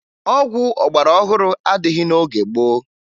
Ọgwụ ọgbarọhụrụ adịghị n'oge gboo